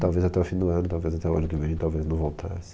Talvez até o fim do ano, talvez até o ano que vem, talvez não voltasse.